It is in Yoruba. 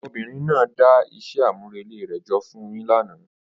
Ọmọbìnrin náà dá iṣẹ́ àmúrelé rẹ̀ jọ fún un yín lánàá.